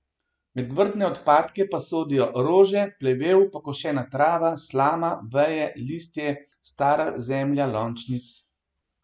Med vrtne odpadke pa sodijo rože, plevel, pokošena trava, slama, veje, listje, stara zemlja lončnic.